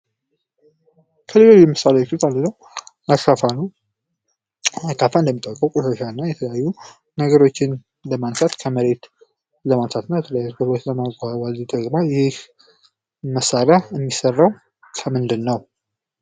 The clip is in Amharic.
ልዩ ልዩ መሳሪያዎች መካከል አንዱ አካፋ ነው። አካፋ የተለያዩ ነገሮችን ለማንሳት የምንጠቀምበት ነው ።ይህ መሳርያ የሚሰራው ከምንድነው?